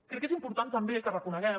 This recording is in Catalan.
crec que és important també que reconeguem